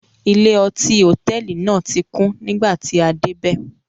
Ilé-ọtí hòtẹ́ẹ́lì náà tí kún nígbà tí a dé bẹ́ẹ̀.